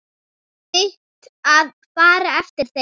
Þitt að fara eftir þeim.